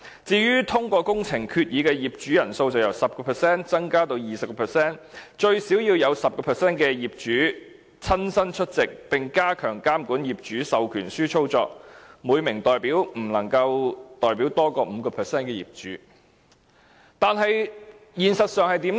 至於通過工程決議的業主人數，則由 10% 增加至 20%， 以及最少要有 10% 的業主親身出席會議，並加強監管業主授權書的操作，每名獲授權人士不能夠代表多於 5% 的業主。